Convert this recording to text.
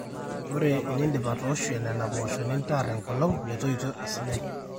ore eniindip atooshu nena poosho nintaar enkolong metoito esidai